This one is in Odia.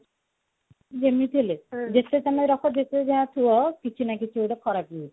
ଯେମତି ହେଲେ ଯେତେ ସମୟ ରଖ ଯେତେ ଯାହା ଥୁଅ କିଛି ନା କିଛି ଗୋଟେ ଖରାପ ହଉଛି